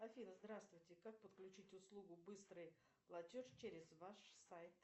афина здравствуйте как подключить услугу быстрый платеж через ваш сайт